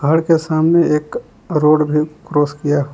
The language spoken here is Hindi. घर के सामने एक रोड भी क्रॉस किया है।